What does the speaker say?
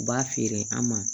U b'a feere an ma